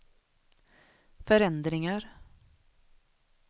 förändringar